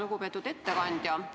Lugupeetud ettekandja!